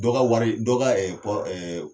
Dɔgɔ wari dɔgɔ